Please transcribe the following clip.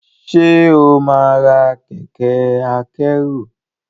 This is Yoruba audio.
ṣe ọ má rà Kẹ̀kẹ́ akẹ́rù?